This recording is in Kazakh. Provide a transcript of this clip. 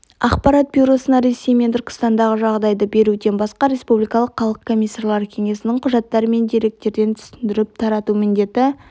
ақпарат бюросына ресей мен түркістандағы жағдайды беруден басқа республикалық халық комиссарлар кеңесінің құжаттар мен декреттерін түсіндіріп тарату міндеті